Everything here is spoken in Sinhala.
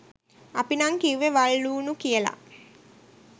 අපි නං කිව්වෙ වල් ලුනු කියල